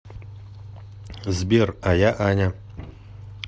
сбер а я аня